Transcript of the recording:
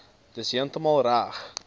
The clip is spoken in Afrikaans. dis heeltemal reg